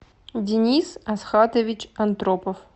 денис асхатович андропов